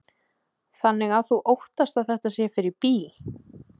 Kristján: Þannig að þú óttast að þetta sé fyrir bí?